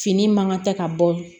Fini man ka tɛ ka bɔ